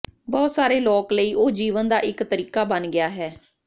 ਬਹੁਤ ਸਾਰੇ ਲੋਕ ਲਈ ਉਹ ਜੀਵਨ ਦਾ ਇੱਕ ਤਰੀਕਾ ਬਣ ਗਿਆ ਹੈ